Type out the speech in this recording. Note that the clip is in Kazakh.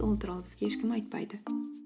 ол туралы бізге ешкім айтпайды